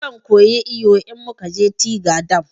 Zan koyi iyo in mukaje tiga dam